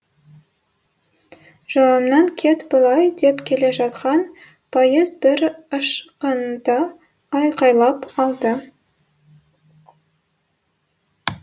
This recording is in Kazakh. жолымнан кет былай деп келе жатқан пойыз бір ышқынта айқайлап алды